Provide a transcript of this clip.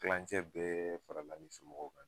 Kilancɛ bɛ farala hali somɔgɔw kan